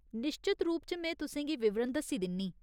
निश्चत रूप च में तुसें गी विवरण दस्सी दिन्नीं।